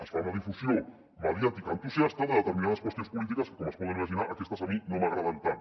es fa una difusió mediàtica entusiasta de determinades qüestions polítiques que com es poden imaginar aquestes a mi no m’agraden tant